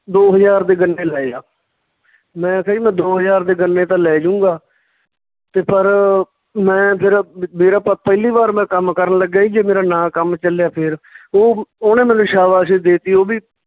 ਦੋ ਹਜਾਰ ਦੇ ਗੰਨੇ ਲੈਜਾ ਮੈਂ ਕਿਹਾ ਜੀ ਮੈਂ ਦੋ ਹਜਾਰ ਦੇ ਗੰਨੇ ਤਾਂ ਲੈ ਜਾਊਂਗਾ ਤੇ ਪਰ ਮੈਂ ਫੇਰ ਮੇਰਾ ਪ ਪਹਿਲੀ ਵਾਰ ਕੰਮ ਕਰਨ ਲੱਗਿਆ ਜੀ ਜੇ ਮੇਰਾ ਨਾ ਕੰਮ ਚੱਲਿਆ ਫਰ ਉਹ ਉਹਨੇ ਮੈਨੂੰ ਸਾਬਾਸੇ ਦੇ ਤੀ ਉਹ ਵੀ